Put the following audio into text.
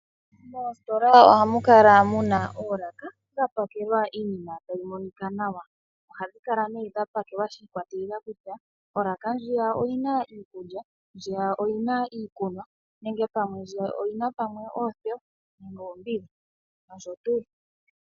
Moositola ohamu kala muna oolaka dha pakelwa iinima tayi monika nawa. Ohhadhi kala ne dha pakelwa shi ikwatelela kutya olaka ndjiya oyina iikulya, ndjiya oyina iikunwa, nenge pamwe ndjiya oyina oothewa noombiga, noshotu.